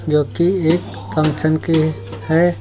जोकि एक फंक्शन की है।